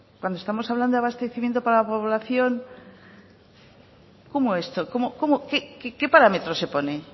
cuando estamos hablando de abastecimiento para la población cómo qué parámetro se pone